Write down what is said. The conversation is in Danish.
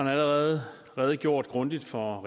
har allerede redegjort grundigt for